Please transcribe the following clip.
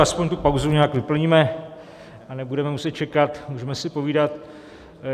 Aspoň tu pauzu nějak vyplníme a nebudeme muset čekat, můžeme si povídat.